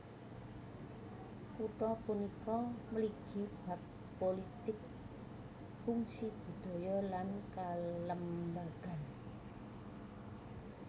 Kutha punika mligi bab pulitik fungsi budaya lan kalembagan